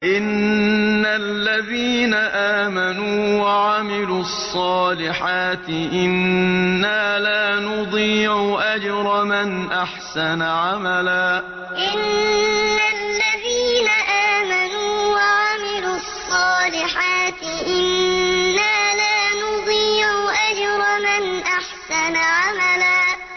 إِنَّ الَّذِينَ آمَنُوا وَعَمِلُوا الصَّالِحَاتِ إِنَّا لَا نُضِيعُ أَجْرَ مَنْ أَحْسَنَ عَمَلًا إِنَّ الَّذِينَ آمَنُوا وَعَمِلُوا الصَّالِحَاتِ إِنَّا لَا نُضِيعُ أَجْرَ مَنْ أَحْسَنَ عَمَلًا